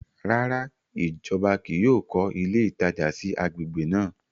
Ràrá, ìjọba kìí yóò kọ ilé ìtajà sí agbègbè náà